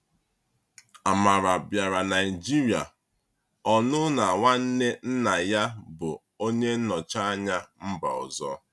Amara bịara Naịjirịa ọnụ na nwanne nna ya bụ onye nnọchi anya mba ọzọ.